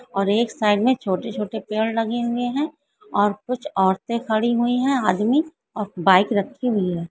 और एक साइड मे छोटे-छोटे पेड़ लगे हुए है और कुछ औरते खड़ी हुई है आदमी और बाइक रखी हुई है।